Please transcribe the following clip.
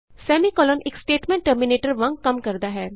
semicolon ਇਕ statement terminator ਸਮਾਪਕ ਵਾਂਗ ਕੰਮ ਕਰਦਾ ਹੈ